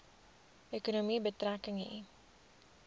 ekonomie betrekking hê